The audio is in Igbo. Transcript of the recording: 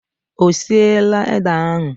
Ọ siela ede ahụ?